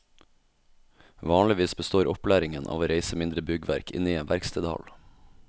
Vanligvis består opplæringen av å reise mindre byggverk inne i en verkstedhall.